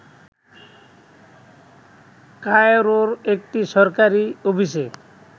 কায়রোর একটি সরকারি অফিসে